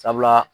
Sabula